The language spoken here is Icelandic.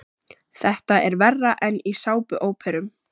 Þetta er verra en í sápuóperum.